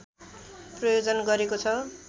प्रायोजन गरेको छ